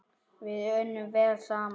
Við unnum vel saman.